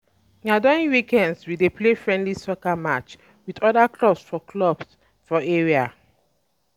Na during weekends, we dey play friendly soccer matches um with other clubs for clubs for area.